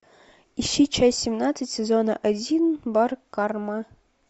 ищи часть семнадцать сезона один бар карма